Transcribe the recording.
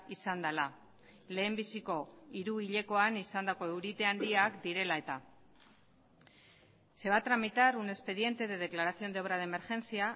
izan dela lehenbiziko hiruhilekoan izandako eurite handiak direla eta se va a tramitar un expediente de declaración de obra de emergencia